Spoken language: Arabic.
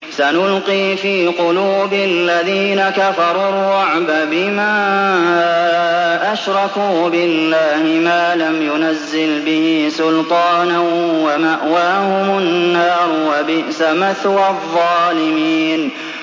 سَنُلْقِي فِي قُلُوبِ الَّذِينَ كَفَرُوا الرُّعْبَ بِمَا أَشْرَكُوا بِاللَّهِ مَا لَمْ يُنَزِّلْ بِهِ سُلْطَانًا ۖ وَمَأْوَاهُمُ النَّارُ ۚ وَبِئْسَ مَثْوَى الظَّالِمِينَ